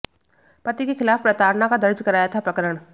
पति के खिलाफ प्रताड़ना का दर्ज कराया था प्रकरण